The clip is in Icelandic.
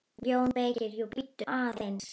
JÓN BEYKIR: Jú, bíddu aðeins!